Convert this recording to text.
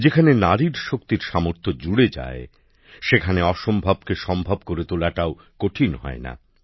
যেখানে নারীর শক্তি সামর্থ্যর সঙ্গে জুড়ে যায় সেখানে অসম্ভবকে সম্ভব করে তোলাটাও কঠিন হয় না